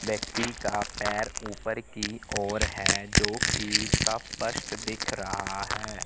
व्यक्ति का पैर ऊपर की ओर है जोकि सब पष्ट दिख रहा है।